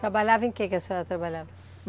Trabalhava em que que a senhora trabalhava?